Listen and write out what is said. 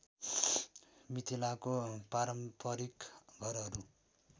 मिथिलाको पारम्परिक घरहरू